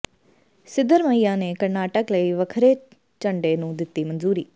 ਸਿਧਰਮਈਆ ਨੇ ਕਰਨਾਟਕ ਲਈ ਵੱਖਰੇ ਝੰਡੇ ਨੂੰ ਦਿੱਤੀ ਮਨਜ਼ੂਰੀ